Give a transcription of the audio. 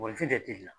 Mɔgɔninfin de la